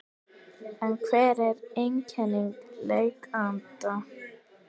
En hver eru einkenni lekanda?